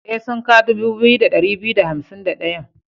E, sunka dubu biyu da ɗari biyu da hansim da ɗayan.